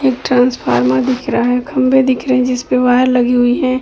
एक ट्रान्सफार्मर दिख रहा है। खम्भे दिख रहे हैं जिसपे वायर लगी हुई है।